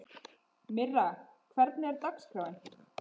Myrra, hvernig er dagskráin?